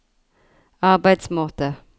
arbeidsmåte